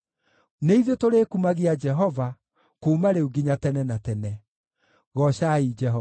nĩ ithuĩ tũrĩkumagia Jehova, kuuma rĩu nginya tene na tene. Goocai Jehova.